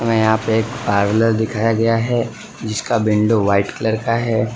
यहां पे पार्लर दिखाया गया है जिसका विंडो व्हाइट कलर का है।